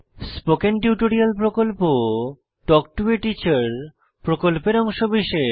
spoken tutorial talk to a teacher প্রকল্পের অংশবিশেষ